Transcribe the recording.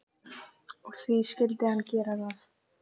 Og því skyldi hann gera það.